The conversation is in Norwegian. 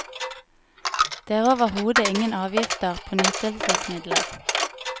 Det er overhodet ingen avgifter på nytelsesmidler.